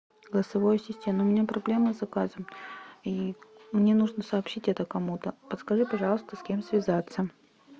голосовой ассистент у меня проблемы с заказом и мне нужно сообщить это кому то подскажи пожалуйста с кем связаться